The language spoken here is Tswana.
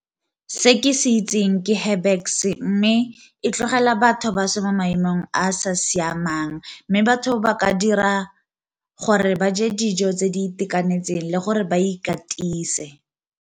Se ke se itseng ke Herbex mme e tlogela batho ba se mo maemong a a sa siamang, mme batho ba ka dira gore ba je dijo tse di itekanetseng le gore ba ikatise.